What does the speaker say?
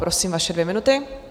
Prosím, vaše dvě minuty.